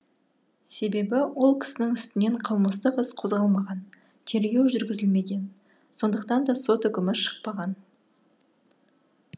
себебі ол кісінің үстінен қылмыстық іс қозғалмаған тергеу жүргізілмеген сондықтан да сот үкімі шықпаған